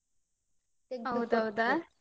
ಹೌದೌದಾ.